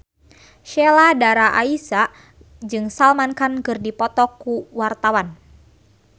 Sheila Dara Aisha jeung Salman Khan keur dipoto ku wartawan